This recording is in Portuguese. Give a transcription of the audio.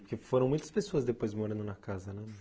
Porque foram muitas pessoas depois morando na casa, né?